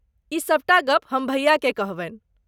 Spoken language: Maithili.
ई सभटा गप्प हम भैयाकेँ कहबनि।